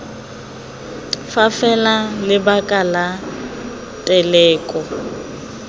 fa fela lebaka la teleko